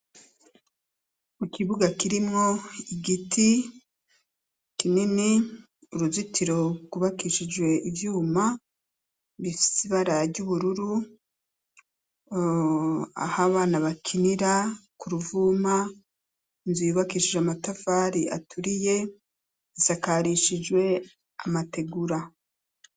Kukibuga kirimwo igiti kinini , uruzitiro rwubakishijwe ivyuma bifis'ibara ry'ubururu, ah'abana bakinira kuruvuma , inzu yubakishijwe amatafari aturiye , isakarishijwe amategura.